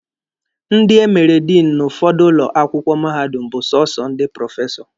Ndi emere Diinụ n'ụfọdụ ụlọ akwụkwọ mahadum bụ sọsọ ndị prọfesọ.